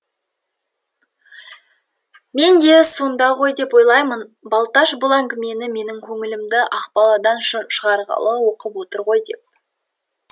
мен де сонда ғой деп ойлаймын балташ бұл әңгімені менің көңілімді ақбаладан шығарғалы оқып отыр ғой деп